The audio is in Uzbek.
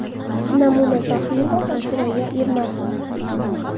Namuna Zohirova va Surayyo Ermatova.